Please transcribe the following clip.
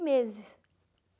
meses.